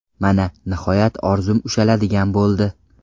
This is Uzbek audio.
Mana, nihoyat orzum ushaladigan bo‘ldi.